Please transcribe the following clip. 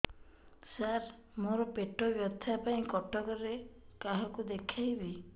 ସାର ମୋ ର ପେଟ ବ୍ୟଥା ପାଇଁ କଟକରେ କାହାକୁ ଦେଖେଇବି